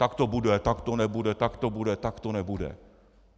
Tak to bude, tak to nebude, tak to bude, tak to nebude.